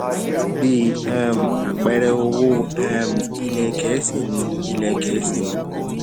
bí um àpẹẹrẹ owó um ilẹ gẹẹsi ni ilẹ gẹẹsi ní